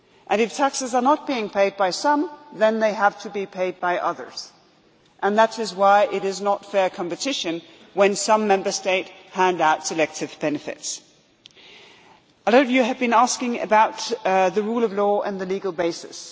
If taxes are not being paid by some, then they have to be paid by others and that is why it is not fair competition when some Member States hand out selective benefits. A lot of you have been asking about the rule of law and the legal basis.